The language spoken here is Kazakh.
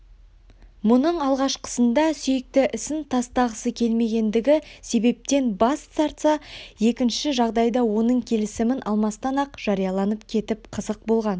мұның алғашқысында сүйікті ісін тастағысы келмегендігі себептен бас тартса екінші жағдайда оның келісімін алмастан-ақ жарияланып кетіп қызық болған